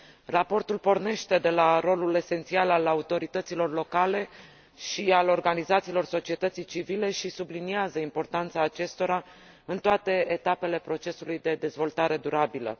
Raportul pornește de la rolul esențial al autorităților locale și al organizațiilor societății civile și subliniază importanța acestora în toate etapele procesului de dezvoltare durabilă.